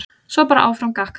Svo var bara áfram gakk.